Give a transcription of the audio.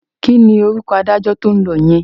Kí ni orúkọ adájọ́ tí ó ń lọ yẹn?